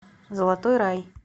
золотой рай